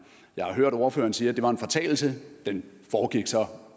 jeg har hørt ordføreren sige at det var en fortalelse den foregik så